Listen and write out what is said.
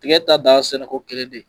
Tigɛ ta dan ye sɛnɛko kelen de.